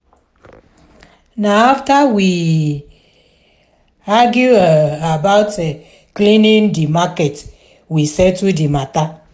na afta we um argue um about cleaning di market we settle di mata.